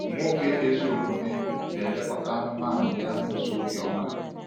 Nwoke ezi omume na-elekọta anụmanụ ya n’ụzọ obiọma.